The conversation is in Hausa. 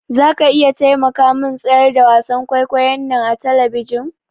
Zaka iya taimakamin tsayar da wasan kwaikwayon nan a tabishin?